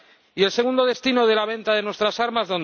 Y ¿cuál es el segundo destino de la venta de nuestras armas?